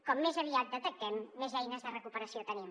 com més aviat detectem més eines de recuperació tenim